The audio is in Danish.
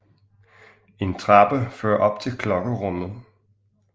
En trappe fører op til klokkerummet